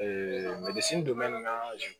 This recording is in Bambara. donnen na